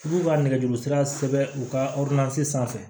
U b'u ka nɛgɛjuru sira u ka sanfɛ